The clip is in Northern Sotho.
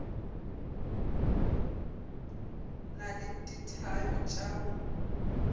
na le dithabe tša go